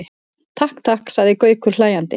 Takk, takk sagði Gaukur hlæjandi.